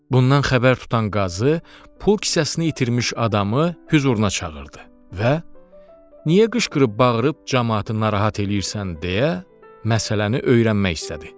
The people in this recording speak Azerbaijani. Bundan xəbər tutan qazı pul kisəsini itirmiş adamı hüzuruna çağırdı və “Niyə qışqırıb-bağırıb camaatı narahat eləyirsən?”, deyə məsələni öyrənmək istədi.